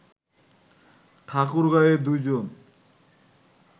ঠাকুরগাঁওয়ে দুইজন